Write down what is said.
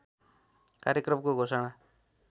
कार्यक्रमको घोषणा